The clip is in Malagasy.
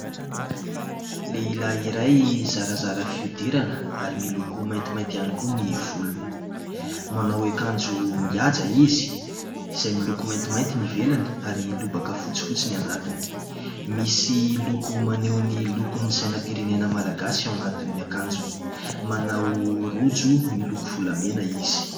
Lehilahy iray zarazara fihodirana ary miloko maintimainty ihany koa ny volony, manao akanjo mihaja izy, izay miloko maintimainty ny ivelany ary lobaka fotsifotsy ny anatiny. Misy loko maneho ny lokon'ny sainam-pirenena malagasy ao anatin'ny akanjony, manao rojo miloko volamena izy.